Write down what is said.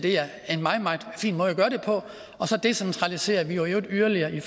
gøre det på og så decentraliserer vi i øvrigt yderligere i